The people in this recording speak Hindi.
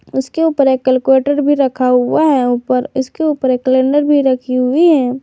उसके ऊपर एक कैलकुलेटर भी रखा हुआ है ऊपर इसके ऊपर एक कैलेंडर भी रखी हुई है।